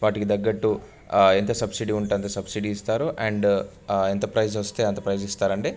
వాటికి తగ్గట్టు ఆ ఎంత సబ్సిడీ వుంటే అంత సబ్సిడీ ఇస్తారు అండ్ ఆ ఎంత ప్రైస్ వస్తే ఆంత ప్రైస్ ఇస్తారు అండీ --